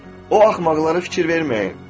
O axmaqlara fikir verməyin.